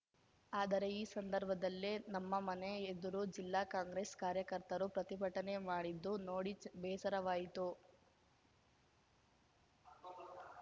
ಆದರೆ ಈ ಸಂದರ್ಭದಲ್ಲೇ ನಮ್ಮ ಮನೆ ಎದುರು ಜಿಲ್ಲಾ ಕಾಂಗ್ರೆಸ್‌ ಕಾರ್ಯಕರ್ತರು ಪ್ರತಿಭಟನೆ ಮಾಡಿದ್ದು ನೋಡಿ ಬೇಸರವಾಯಿತು